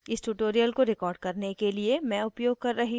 इस tutorial को record करने के लिए मैं उपयोग कर रही हूँ